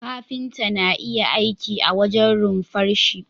Kafinta na iya aiki a wajen runfarshi